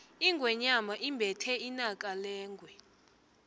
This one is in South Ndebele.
ingwenyama imbethe inaka lengwe